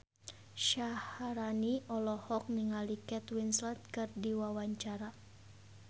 Syaharani olohok ningali Kate Winslet keur diwawancara